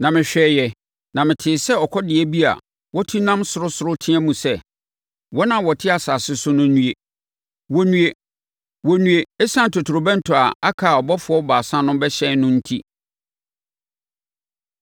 Na mehwɛeɛ na metee sɛ ɔkɔdeɛ bi a watu nam soro soro teaam sɛ, “Wɔn a wɔte asase so no nnue; wɔnnue, wɔnnue ɛsiane totorobɛnto a aka a abɔfoɔ baasa no rebɛhyɛn no enti.”